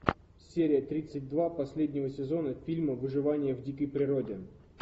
серия тридцать два последнего сезона фильма выживание в дикой природе